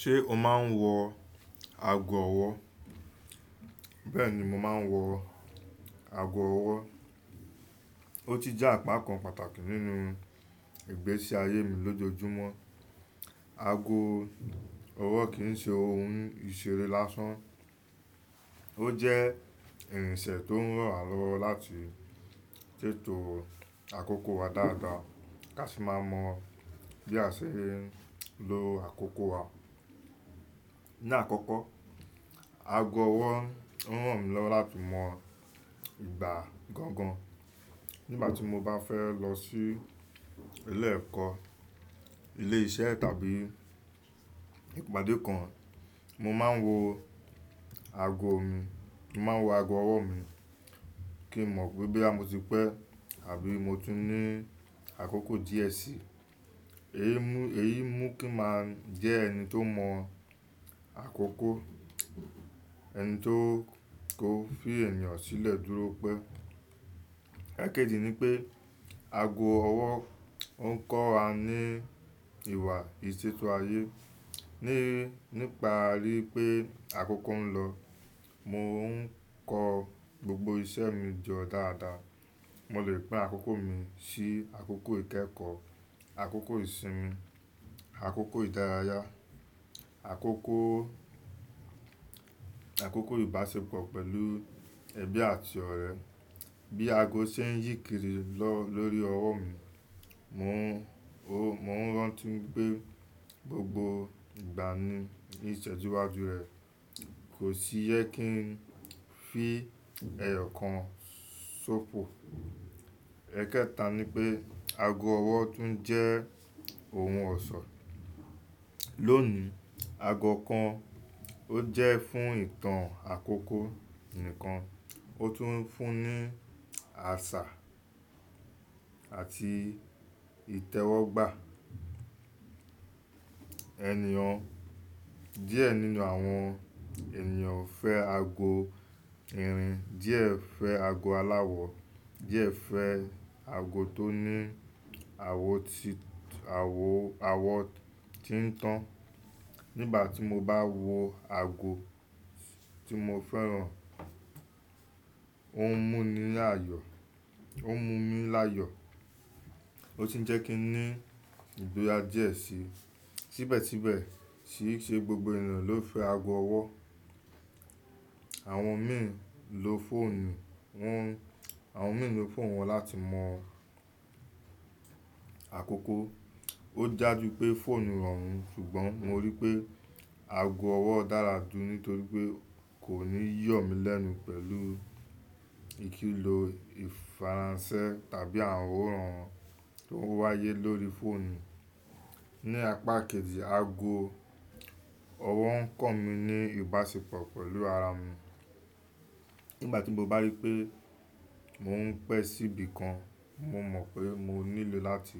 Ṣé o máa ń wọ ago ọwọ́? Bẹ́ẹ̀ni, mo máa ń wọ ago ọwọ́. Ó ti jẹ́ apá kan pàtàkì nínú ìgbésí ayé mi lójoojúmọ́. Ago ọwọ́ kì í ṣe ohun ìṣeré lásán. Ó jẹ́ ìrìnṣẹ̀ tó ń ràn wá lọ́wọ́ láti ṣètò àkókò wa dáadáa ká sì máa mọ̀ bí a ṣe ń lo àkókò wa. Ni àkọ́kọ́, ago ọwọ́ ń ràn mí lọ́wọ́ láti mọ ìgbà gangan. Nígbà tí mo bá fẹ́ lọ sí ilé ẹ̀kọ́, ilé iṣẹ́ tàbí ìpàdé kan, mo máa ń wọ ago mi, mo máa ń wọ ago ọwọ́ mi kí n mọ̀ pé boya mọ́ ti pẹ́ àbí mo tun ní àkókò díẹ̀ sí. Èyí mú kí n máa jẹ́ ẹni tó mọ̀ àkókò, ẹni tó ko fi ènìyàn sílẹ̀ dúró pé. Ẹ̀kẹ́jì ni pé ago ọwọ́ oń kọ́ wa ní ìwà ìṣètò ayé. Nípa a ríi pé àkókò ń lọ, mo ń kọ gbogbo iṣẹ́ mi jọ dáadáa. Mo lè pín àkókò mi sí àkókò ìkẹ́kọ̀ọ́, àkókò ìsinmi, àkókò ìdárayá, àkókò, àkókò ìbáṣepọ̀ pẹ̀lú ẹbí àti ọ̀rẹ́. Bí ago ṣe ń yíkìrí lọ lórí ọwọ́ mi, mò ń rántí wipé gbogbo ìgbà ní ìṣẹ́jú wájú rẹ̀ kò sì jẹ kí n fi ẹyọ kan sófò. Ẹ̀kẹta ni pé ago ọwọ́ tún jẹ́ ohun ọ̀ṣọ́. Lónìí, ago kan ò jẹ́ fún ìtàn àkókò nìkan, ó tún ń fún ní àṣà àti ìtẹ́wọ́gbà. Ẹ̀níyàn díẹ̀ nínú àwọn ènìyàn fẹ́ ago irin, díẹ̀ fẹ́ ago aláwọ̀, díẹ̀ fẹ́ ago tó ní àwọ̀ tí, àwọ̀, àwọ̀ tí ń tàn. Nígbà tí mo bá wọ ago tí mo fẹ́ràn, ó ń mú mi láyọ̀, ó ń mú mi láyọ̀ ó sì ń jẹ́ kí n ní ìgboyà díẹ̀ sí. Síbẹ̀síbẹ̀ sì í ṣe gbogbo ènìyàn ló fẹ́ ago ọwọ́. Àwọn mìí n lo fóònù wọn, àwọn mìí n lo fóònù wọn láti mọ àkókò. Ó daju pé fóònù rọrùn ṣùgbọ́n mo rí pé ago ọwọ́ dára jù nítorí pé kò ní yọ̀ mí lẹ́nu pẹ̀lú ìkìlò ìfaransẹ tàbí àwọran tó ń wáyé lórí fóònù. Ni apá kejì, ago ọwọ́ ń kọ̀ mí ní ìbáṣepọ̀ pẹ̀lú ara mi. Nígbà tí mo bá rí pé mò ń pẹ́ síbi kan, mo mọ̀ pé mo nílò láti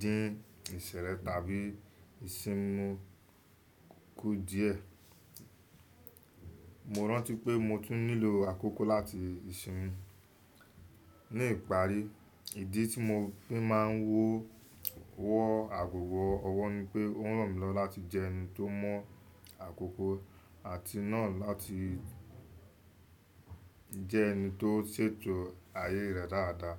dín ìṣẹ̀lẹ̀ tàbí ìsinmi kú díẹ̀. Mo rántí pé mo tún nílò àkókò láti ìsinmi. Ni ìparí, ìdí tí mo fi máa ń wọ wọ́ ago ọwọ́ ni pé ó ń ràn mí lọ́wọ́ láti jẹ́ ẹni tó mọ̀ àkókò àti náà láti jẹ́ ẹni tó ṣètò ayé rẹ̀ dáadáa.